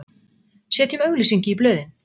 Setjum auglýsingu í blöðin!